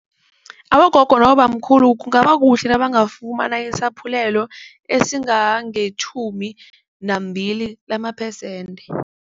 Abogogo nabobamkhulu kungabakuhle nabangafumana isaphulelo esingangetjhumi nambili lamaphesente.